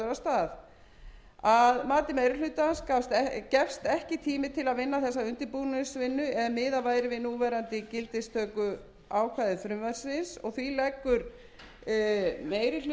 að mati meiri hlutans gæfist ekki tími til að vinna þessa undirbúningsvinnu ef miðað væri við núverandi gildistökuákvæði frumvarpsins því leggur meiri hlutinn til að frumvarpið